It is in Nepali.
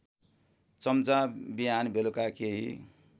चम्चा बिहानबेलुका केही